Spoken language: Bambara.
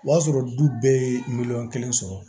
O y'a sɔrɔ du bɛɛ ye miliyɔn kelen sɔrɔ